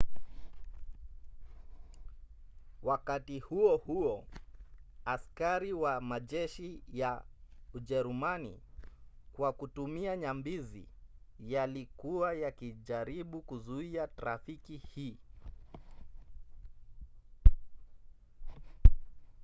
wakati huo huo askari wa majeshi ya ujerumani kwa kutumia nyambizi yalikuwa yakijaribu kuzuia trafiki hii